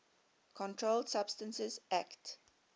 controlled substances acte